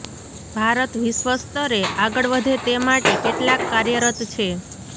ભારત વિશ્વસ્તરે આગળ વધે તે માટે કેટલાક કાર્યરત છે